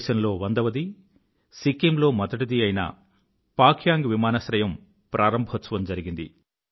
దేశంలో వందవది సిక్కింలో మొదటిది అయిన పాక్యాంగ్ విమానాశ్రయం ప్రారంభోత్సవం జరిగింది